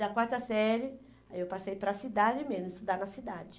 Da quarta série aí eu passei para a cidade mesmo, estudar na cidade.